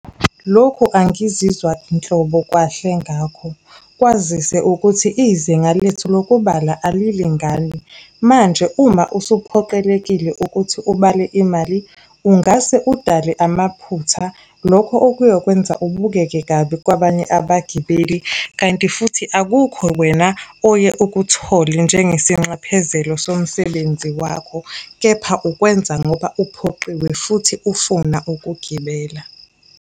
Lokhu angizizwa nhlobo kahle ngakho. Kwazise ukuthi izinga lethu lokubala alilingani. Manje uma usuphoqelekile ukuthi ubale imali, ungase udale amaphutha. Lokho okuyokwenza ubukeke kabi kwabanye abagibeli, kanti futhi akukho wena oye ukuthole njengesinxephezelo somsebenzi wakho. Kepha ukwenza ngoba uphoqiwe futhi ufuna ukugibela.